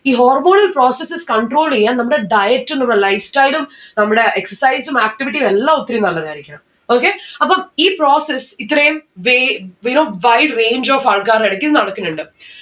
ഈ hormonal processes control എയ്യാൻ നമ്മടെ diet ഉം നമ്മളെ lifestyle ഉം നമ്മടെ exercise ഉം activity ഉം എല്ലാം ഒത്തിരി നല്ലതായിരിക്കണം. okay അപ്പം ഈ process ഇത്രേം way you know wide range of ആൾക്കാരുടെ ഇടക്ക് ഇത് നടക്കിന്നിണ്ട്‌